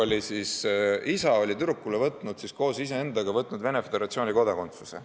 Venemaa kodanikust isa oli tüdrukule võtnud Venemaa Föderatsiooni kodakondsuse.